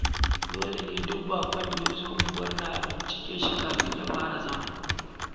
Dole ne duk baƙon da ya zo unguwar nan a bincike shi kafin ya fara zama.